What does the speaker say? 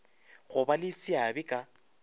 go ba le seabe ka